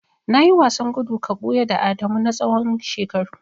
Nayi wasan gudu ka buya da Adamu na tsawon shekaru.